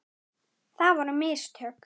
Það voru mistök.